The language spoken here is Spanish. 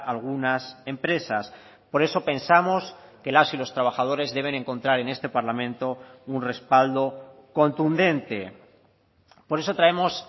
algunas empresas por eso pensamos que las y los trabajadores deben encontrar en este parlamento un respaldo contundente por eso traemos